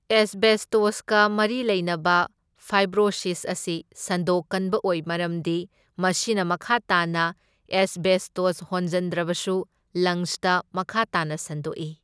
ꯑꯦꯁꯕꯦꯁꯇꯣꯁꯀ ꯃꯔꯤ ꯂꯩꯅꯕ ꯐꯥꯏꯕ꯭ꯔꯣꯁꯤꯁ ꯑꯁꯤ ꯁꯟꯗꯣꯛꯀꯟꯕ ꯑꯣꯏ ꯃꯔꯝꯗꯤ ꯃꯁꯤꯅ ꯃꯈꯥ ꯇꯥꯅ ꯑꯦꯁꯕꯦꯁꯇꯣꯁ ꯍꯣꯟꯖꯟꯗ꯭ꯔꯕꯁꯨ ꯂꯪꯁꯇ ꯃꯈꯥ ꯇꯥꯅ ꯁꯟꯗꯣꯛꯢ꯫